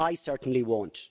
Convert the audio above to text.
I certainly won't.